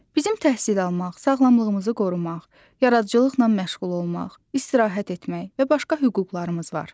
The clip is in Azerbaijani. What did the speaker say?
Bizim təhsil almaq, sağlamlığımızı qorumaq, yaradıcılıqla məşğul olmaq, istirahət etmək və başqa hüquqlarımız var.